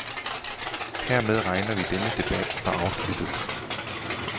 Hermed regner vi denne debat for afsluttet.